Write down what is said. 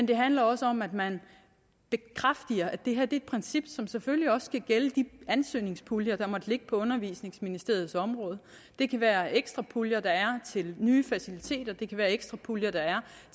det handler også om at man bekræfter at det her er et princip som selvfølgelig også skal gælde de ansøgningspuljer der måtte ligge på undervisningsministeriets område det kan være ekstrapuljer til nye faciliteter det kan være ekstrapuljer